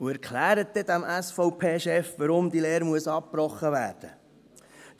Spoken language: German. Und erklären Sie dann einmal diesem SVP-Chef, wieso diese Lehre abgebrochen werden muss.